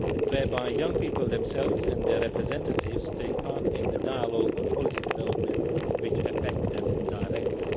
whereby young people themselves and their representatives take part in the dialogue on policy developments which affect them directly.